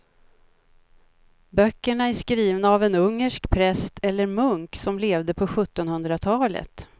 Böckerna är skrivna av en ungersk präst eller munk som levde på sjuttonhundratalet.